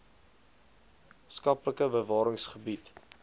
skaplike bewarings gebied